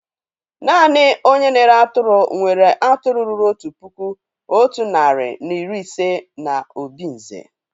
Naanị ònye na-ere atụrụ nwéré atụrụ ruru otu puku, otu narị na iri ise na obinze